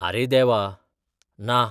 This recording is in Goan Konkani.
अरे देवा, ना!